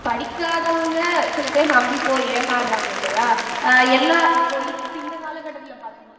படிக்காதவங்க சில பேர் நம்பிப் போய் ஏமாறறாங்க இல்லையா அஹ் எல்லா இப்போ இப்ப இந்த கால கட்டத்துல பார்த்தீங்கன்னா